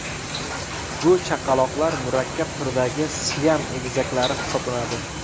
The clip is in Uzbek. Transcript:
Bu chaqaloqlar murakkab turdagi siam egizaklari hisoblanadi.